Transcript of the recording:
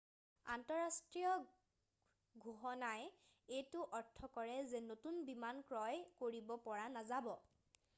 আন্তঃৰাষ্ট্ৰীয় ঘোষণাই এইটো অৰ্থ কৰে যে নতুন বিমান ক্ৰয় কৰিব পৰা নাযাব